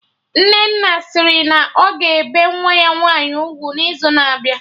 Nnenna sịrị na ọ ga-ebe nwa ya nwaanyị ugwu n'izu na-abịa